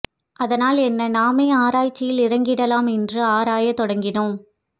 அதனால் என்ன நாமே ஆராய்ச்சியில் இறங்கிடலாம் என்று ஆறாயத் தொடங்கினோம்